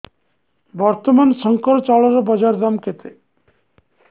ବର୍ତ୍ତମାନ ଶଙ୍କର ଚାଉଳର ବଜାର ଦାମ୍ କେତେ